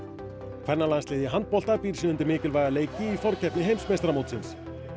kvennalandsliðið í fótbolta býr sig undir mikilvæga leiki í forkeppni heimsmeistaramótsins